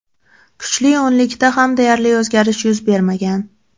Kuchli o‘nlikda ham deyarli o‘zgarish yuz bermagan.